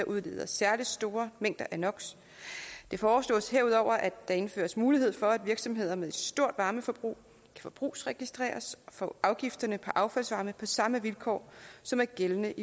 udleder særligt store mængder af no det foreslås herudover at der indføres mulighed for at virksomheder med et stort varmeforbrug forbrugsregistreres for afgifterne på affaldsvarme på samme vilkår som er gældende